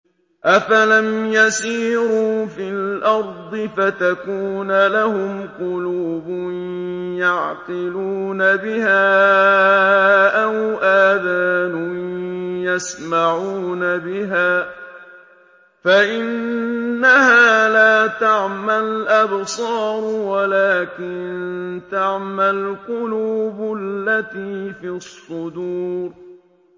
أَفَلَمْ يَسِيرُوا فِي الْأَرْضِ فَتَكُونَ لَهُمْ قُلُوبٌ يَعْقِلُونَ بِهَا أَوْ آذَانٌ يَسْمَعُونَ بِهَا ۖ فَإِنَّهَا لَا تَعْمَى الْأَبْصَارُ وَلَٰكِن تَعْمَى الْقُلُوبُ الَّتِي فِي الصُّدُورِ